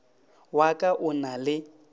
wa ka o na le